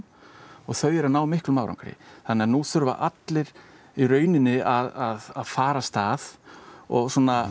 og þau eru að ná miklum árangri þannig að nú þurfa allir að fara af stað og